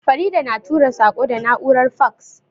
Farida na tura saƙo da na'urar faks.